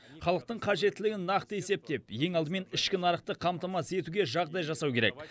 халықтың қажеттілігін нақты есептеп ең алдымен ішкі нарықты қамтамасыз етуге жағдай жасау керек